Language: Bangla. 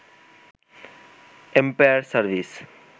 empire service